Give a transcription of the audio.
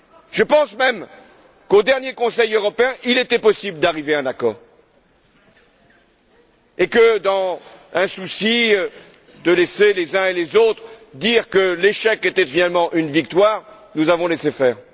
Je pense même que, lors du dernier Conseil européen, il était possible d'arriver à un accord et que, dans un souci de laisser les uns et les autres affirmer que l'échec était finalement une victoire, nous avons laissé faire.